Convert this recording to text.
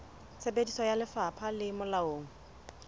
tsebiso ya lefapha le molaong